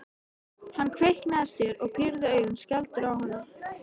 Hann kveinkaði sér og pírði augun skelfdur á hana.